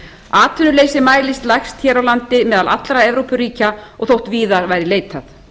atvinnuleysi mælist lægst hér á landi innan allra evrópuríkja og þótt víðar væri leitað